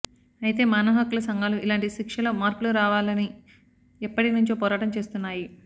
అయితే మానవహక్కుల సంఘాలు ఇలాంటి శిక్షల్లో మార్పులు రావాలని ఎప్పటి నుంచో పోరాటం చేస్తున్నాయి